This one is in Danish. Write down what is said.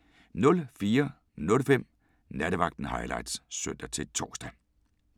04:05: Nattevagten Highlights (søn-tor)